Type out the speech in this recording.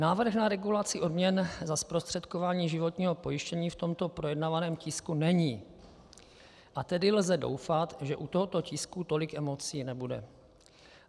Návrh na regulaci odměn za zprostředkování životního pojištění v tomto projednávaném tisku není, a tedy lze doufat, že u tohoto tisku tolik emocí nebude.